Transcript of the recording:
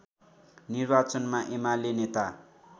निर्वाचनमा एमाले नेता